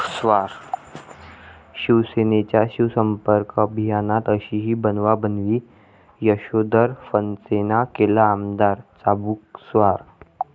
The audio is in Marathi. शिवसेनेच्या शिवसंपर्क अभियानात अशीही बनवाबनवी, यशोधर फणसेंना केलं आमदार चाबूकस्वार!